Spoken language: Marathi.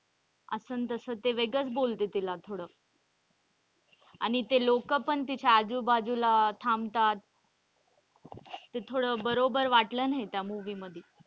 असं न तस ते वेगळंच बोलते तिला थोडं आणि ते लोक पण तिच्या आजूबाजूला थांबतात. ते थोडं बरोबर वाटलं नाही त्या movie मध्ये.